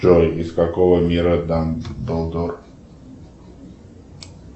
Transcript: джой из какого мира дамблдор